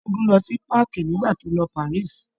Ṣẹ́gun lọ sí páàkì nígbà tó lọ Paris.